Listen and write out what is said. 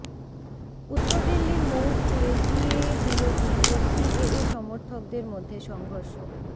উত্তর দিল্লির মৌজপুরে সিএএ বিরোধী ও সিএএ সমর্থকদের মধ্য়ে সংঘর্ষ